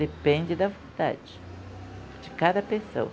Depende da vontade de cada pessoa.